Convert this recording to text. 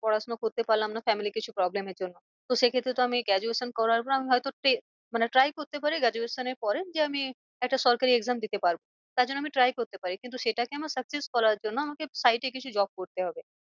পড়াশোনা করতে পারলাম না family র কিছু problem এর জন্য তো সে ক্ষেত্রে তো আমি graduation করার পর আমি হয় তো মানে try করতে পারি graduation এর পরে যে আমি একটা সরকারি exam দিতে পারবো। তার জন্য আমি try করতে পারি। কিন্তু সেটাকে আমার success করার জন্য আমাকে side এ কিছু job করতে হবে।